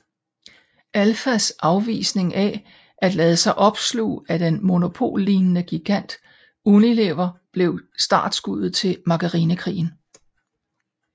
Alfas afvisning af at lade sig opsluge af den monopollignende gigant Unilever blev startskuddet til Margarinekrigen